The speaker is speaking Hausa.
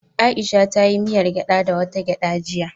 Aisha ta yi miyar gyada da wata gyada jiya.